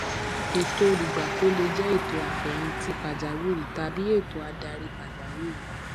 ètò olùgbapò lè jẹ ètò àfẹyìntì pàjáwìrì tàbí ètò adarí pàjáwìrì